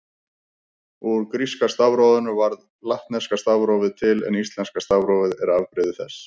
Úr gríska stafrófinu varð latneska stafrófið til en íslenska stafrófið er afbrigði þess.